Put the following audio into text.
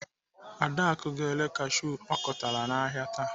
Adaku ga-ere kashiu ọ kụtara n'ahịa taa.